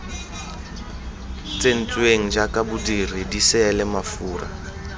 tsentsweng jaaka bodiri diseele mafura